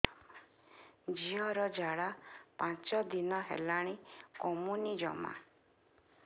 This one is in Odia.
ଝିଅର ଝାଡା ପାଞ୍ଚ ଦିନ ହେଲାଣି କମୁନି ଜମା